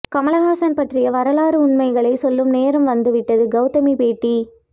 கமல்ஹாசன் பற்றிய வரலாற்று உண்மைகளை சொல்லும் நேரம் வந்துவிட்டது கௌதமி பேட்டி